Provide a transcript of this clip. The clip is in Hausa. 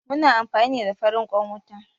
Muna amfani ne da farin ƙwan wuta